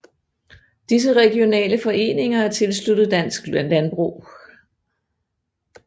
Disse regionale foreninger er tilsluttet Dansk Landbrug